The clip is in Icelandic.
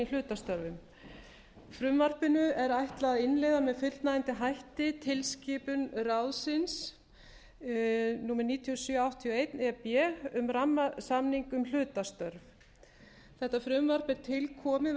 hlutastörfum frumvarpinu er ætlað að innleiða með fullnægjandi hætti tilskipun ráðsins níutíu og sjö áttatíu og eitt e b um rammasamninginn um hlutastörf þetta frumvarp er til komið